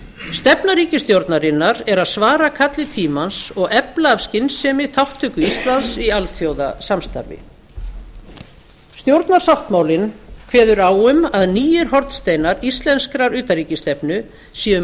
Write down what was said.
stefna ríkisstjórnarinnar er að svara kalli tímans og efla af skynsemi þátttöku íslands í alþjóðasamstarfi stjórnarsáttmálinn kveður á um að nýir hornsteinar íslenskrar utanríkisstefnu séu